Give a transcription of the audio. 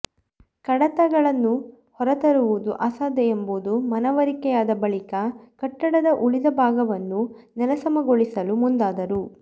ಕಡತಗಳನ್ನು ಹೊರತರುವುದು ಅಸಾಧ್ಯ ಎಂಬುದು ಮನವರಿಕೆಯಾದ ಬಳಿಕ ಕಟ್ಟಡದ ಉಳಿದ ಭಾಗವನ್ನು ನೆಲಸಮಗೊಳಿಸಲು ಮುಂದಾದರು